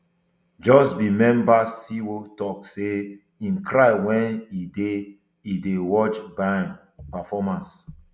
just b member siwoo tok say im cry wen e dey dey watch bain performance